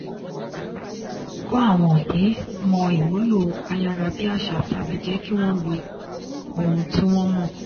kó àwọn òbí mọ ìmúlò ayárabíàṣá tàbí jẹ́ kí wọ́n lo ohun tí wọ́n mọ̀.